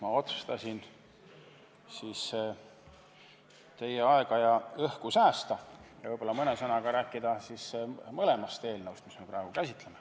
Ma otsustasin teie aega ja õhku säästa ja vaid mõne sõnaga rääkida mõlemast eelnõust, mida me praegu käsitleme.